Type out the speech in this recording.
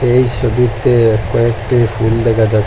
এই সবিতে কয়েকটি ফুল দেখা যা--